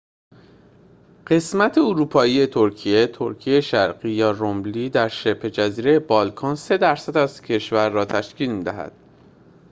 قسمت اروپایی ترکیه تراکیه شرقی یا روملی در شبه‌جزیره بالکان 3% از کشور را تشکیل می‌دهد